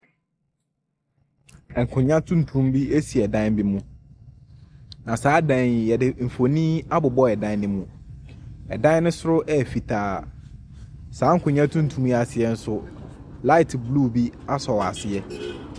Ɛnkonwa tuntum bi esi ɛdan bi mu. Na saa dan yi yɛde mfonin abobɔ ɛdan ne mu. Ɛdan ne soro ɛyɛ fitaa. Saa nkonwa tuntum ase ɛnso laet blu bi asɔ wɔ aseɛ .